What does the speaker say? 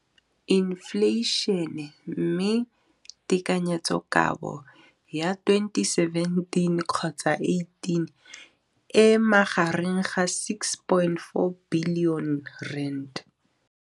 Infleišene, mme tekanyetsokabo ya 2017, 18, e magareng ga R6.4 bilione.